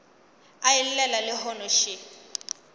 a e llela lehono še